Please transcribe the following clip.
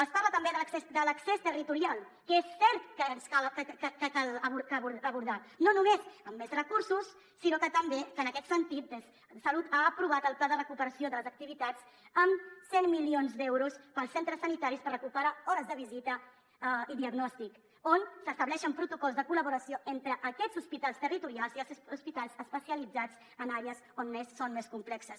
es parla també de l’accés de l’accés territorial que és cert que cal abordar no només amb més recursos sinó que també en aquest sentit salut ha aprovat el pla de recuperació de les activitats amb cent milions d’euros per als centres sanitaris per recuperar hores de visita i diagnòstic on s’estableixen protocols de col·laboració entre aquests hospitals territorials i els hospitals especialitzats en àrees on són més complexes